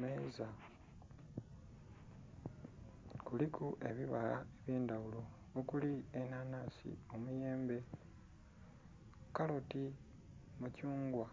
Meeza kuliku ebibala eby'endhaghulo okuli enanhansi, emiyembe, kaloti, mithungwa